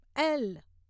L